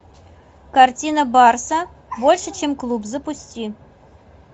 картина барса больше чем клуб запусти